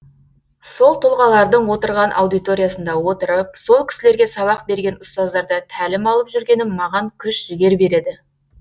сол тұлғалардың отырған аудиториясында отырып сол кісілерге сабақ берген ұстаздардан тәлім алып жүргенім маған күш жігер береді